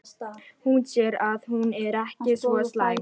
Hún sér að hún er ekki svo slæm.